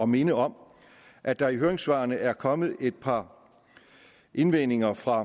minde om at der i høringssvarene er kommet et par indvendinger fra